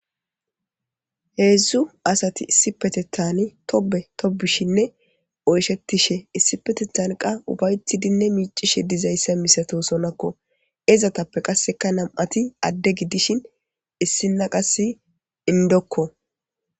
Hedzu asati issipetetani Tobe tobishen oyshetishe issipetetani ufayetidi micishe dizaysa misatosonakko izetappe qasekka nam'ati ade gidishin issina qase indokko